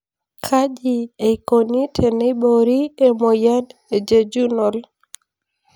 Kaji eikoni teneibori emoyian e jejunal?